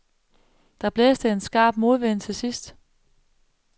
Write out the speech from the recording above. Der blæste en skrap modvind til sidst.